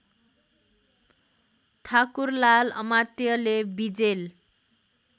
ठाकुरलाल अमात्यले विजेल